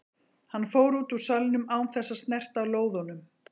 Hann fór út úr salnum án þess að snerta á lóðunum.